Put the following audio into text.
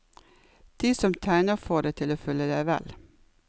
De som tegner får deg til å føle deg vel.